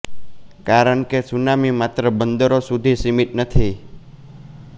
કારણ કે સુનામી માત્ર બંદરો સુધી સિમિત નથી